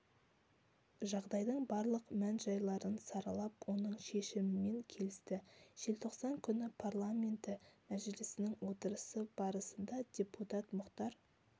жағдайдың барлық мән-жайларын саралап оның шешімімен келісті желтоқсан күні парламенті мәжілісінің отырысы барысында депутат мұхтар